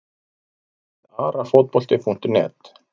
Lið Arafotbolti.net